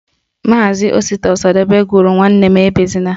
Maazi Osita Ọsadebe gụrụ Nwanne m ebezina